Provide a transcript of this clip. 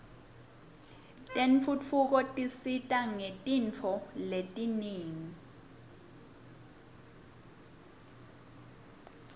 tentfutfuko tsisita ngetntfoletingenti